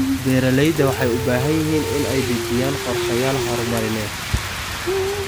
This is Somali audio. Beeralayda waxay u baahan yihiin inay dejiyaan qorshayaal horumarineed.